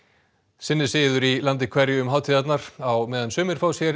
sinn er siður í landi hverju um hátíðirnar á meðan sumir fá sér